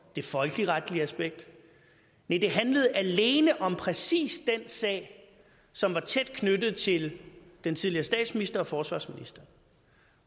det folkeretlige aspekt næh det handlede alene om præcis den sag som var tæt knyttet til den tidligere statsminister og forsvarsminister